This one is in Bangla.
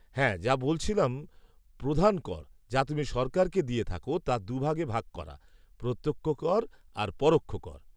হ্যাঁ, যা বলছিলাম, প্রধান কর, যা তুমি সরকারকে দিয়ে থাকো, তা দু ভাগে ভাগ করা, প্রত্যক্ষ কর আর পরোক্ষ কর।